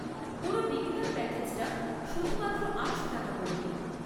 পুরো বিগিনার প্যাকেজটা শুধুমাত্র আটশো টাকা পড়বে।